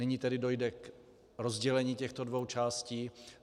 Nyní tedy dojde k rozdělení těchto dvou částí.